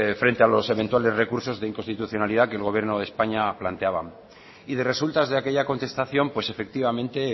frente a los eventuales recursos de inconstitucionalidad que el gobierno de españa planteaba y de resultas de aquella contestación pues efectivamente